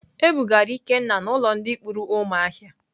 E bugara Ikenna n'ulo ndi kpuru umuahia.